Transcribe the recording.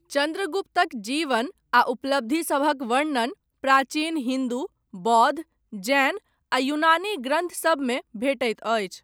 चन्द्रगुप्तक जीवन आ उपलब्धिसभक वर्णन, प्राचीन हिन्दू, बौद्ध, जैन आ यूनानी ग्रन्थसभमे भेटैत अछि।